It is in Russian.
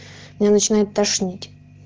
меня начинает тошнить